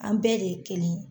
An bɛɛ de ye kelen ye.